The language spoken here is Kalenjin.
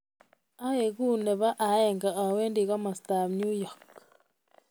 Yegu nebo aeng awendi komastab Newyork